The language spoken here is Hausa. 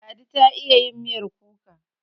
Ladi ta iya yin miyar kuka.